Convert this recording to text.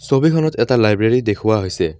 ছবিখনত এটা লাইব্ৰেৰী দেখুওৱা হৈছে।